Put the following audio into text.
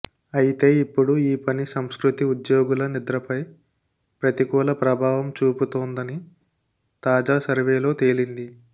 అయితే ఇప్పుడు ఈ పని సంస్కృతి ఉద్యోగుల నిద్రపై ప్రతికూల ప్రభావం చూపుతోందని తాజా సర్వేలో తేలింది